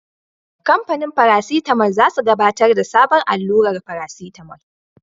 Kamfanin farasitamol za su gabatar da sabon allurar farasitamol.